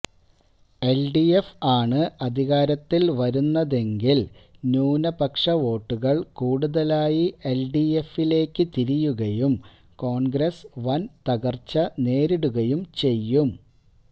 LDF ആണ് അധികാരത്തിൽ വരുന്നതെങ്കിൽ ന്യൂനപക്ഷ വോട്ടുകൾ കൂടുതലായി എൽഡിഎഫിലേക്ക് തിരിയുകയും കോൺഗ്രസ്സ് വൻ തകർച്ച നേരിടുകയും ചെയ്യും